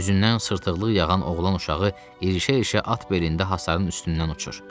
Üzündən sırtıqlıq yağan oğlan uşağı irişə-irişə at belində hasarın üstündən uçur.